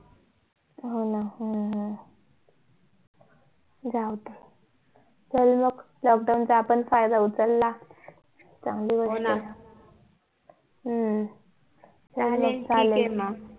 हो ना हो ना हम्म जाऊदे चल मग lockdown चा आपण फायदा उचला हम्म चालेल ठीक ये मग